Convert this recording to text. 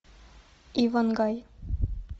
иван гай